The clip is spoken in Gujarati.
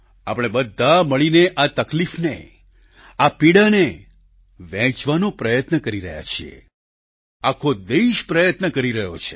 આપણે બધા મળીને આ તકલીફને આ પીડાને વહેંચવાનો પ્રયત્ન કરી રહ્યા છીએ આખો દેશ પ્રયત્ન કરી રહ્યો છે